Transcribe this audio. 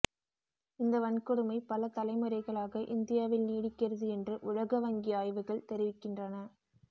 இந்த வன்கொடுமை பல தலைமுறைகளாக இந்தியாவில் நீடிக்கிறது என்று உலக வங்கி ஆய்வுகள் தெரிவிக்கின்றன